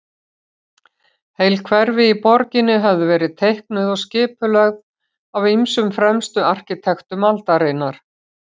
Heil hverfi í borginni höfðu verið teiknuð og skipulögð af ýmsum fremstu arkitektum aldarinnar.